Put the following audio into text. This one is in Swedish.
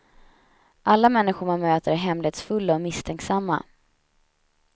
Alla människor man möter är hemlighetsfulla och misstänksamma.